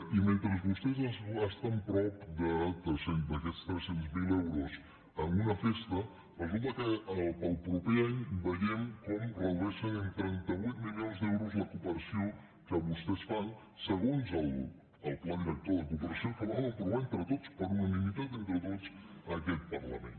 i mentre vostès es gasten prop d’aquests tres cents miler euros en una festa resulta que per al proper any veiem com redueixen en trenta vuit milions d’euros la cooperació que vostès fan segons el pla director de cooperació que vam aprovar entre tots per unanimitat entre tots a aquest parlament